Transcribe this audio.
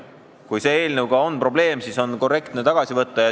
Kui selle eelnõuga on probleem, siis on korrektne see tagasi võtta.